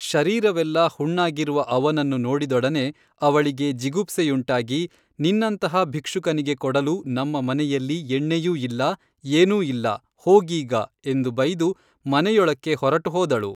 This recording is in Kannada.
ಶರೀರವೆಲ್ಲಾ ಹುಣ್ಣಾಗಿರುವ ಅವನನ್ನು ನೋಡಿದೊಡನೆ ಅವಳಿಗೆ ಜಿಗುಪ್ಸೆಯುಂಟಾಗಿ ನಿನ್ನಂತಹ ಭಿಕ್ಷುಕನಿಗೆ ಕೊಡಲು ನಮ್ಮ ಮನೆಯಲ್ಲಿ ಎಣ್ಣೆಯೂ ಇಲ್ಲ ಏನೂ ಇಲ್ಲ ಹೋಗೀಗ ಎಂದು ಬೈದು ಮನೆಯೊಳಕ್ಕೆ ಹೊರಟು ಹೋದಳು